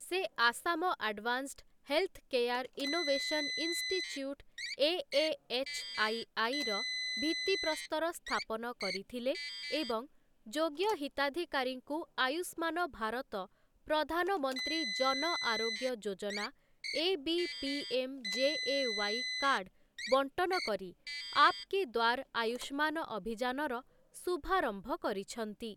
ସେ Assam advanced health care innovation institute ଏଏଏଚ୍ଆଇଆଇର ଭିତ୍ତିପ୍ରସ୍ତର ସ୍ଥାପନ କରିଥିଲେ ଏବଂ ଯୋଗ୍ୟ ହିତାଧିକାରୀଙ୍କୁ Ayushman Bharat Pradhan Mantri Jan Arogya Yojana AB PMJAY card ବଣ୍ଟନ କରି ଆପ୍‌କେ ଦ୍ୱାର ଆୟୁଷ୍ମାନ ଅଭିଯାନର ଶୁଭାରମ୍ଭ କରିଛନ୍ତି ।